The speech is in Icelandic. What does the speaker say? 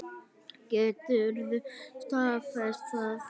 Geturðu staðfest það?